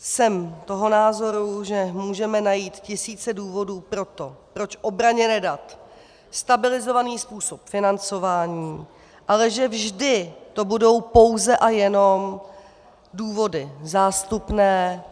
Jsem toho názoru, že můžeme najít tisíce důvodů pro to, proč obraně nedat stabilizovaných způsob financování, ale že vždy to budou pouze a jenom důvody zástupné.